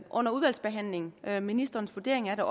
under udvalgsbehandlingen og få ministerens vurdering af